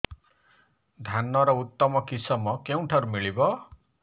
ଧାନର ଉତ୍ତମ କିଶମ କେଉଁଠାରୁ ମିଳିବ